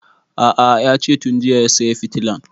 A'a yace tun jiya ya saya fitilan